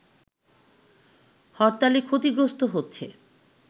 হরতালে ক্ষতিগ্রস্থ হচ্ছে